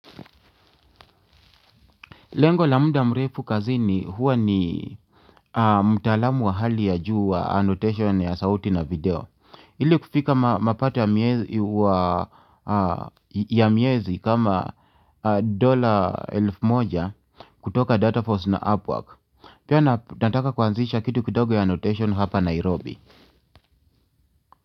Lengo la muda mrefu kazini huwa ni mtaalamu wa hali ya juu wa annotation ya sauti na video ili kufika mapato ya miezi kama dola elfu moja kutoka Data Force na Upwork. Pia nataka kuanzisha kitu kidogo ya annotation hapa Nairobi.